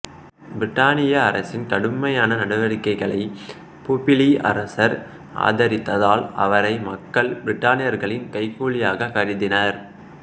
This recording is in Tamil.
பிரித்தானிய அரசின் கடுமையான நடவடிக்கைகளைப் பொபிலி அரசர் ஆதரித்ததால் அவரை மக்கள் பிரித்தானியர்களின் கைக்கூலியாகக் கருதினர்